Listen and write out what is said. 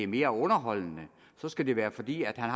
mere underholdende så skulle det være fordi han